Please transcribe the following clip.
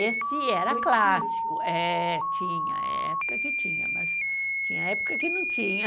Esse era clássico, é, tinha, época que tinha, mas tinha época que não tinha.